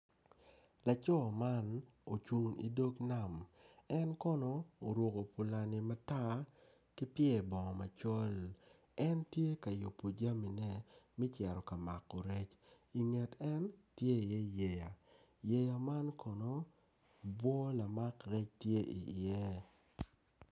Laco man ocung idog nam en kono oruko pulani matar ki pyer bongo macol en tye ka ruko jamine me cito ka ruko rec inget en tye iye yeya yeya man kono bwo lamak rec tye iye.